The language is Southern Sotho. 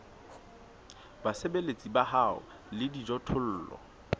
basebeletsi ba hao le dijothollo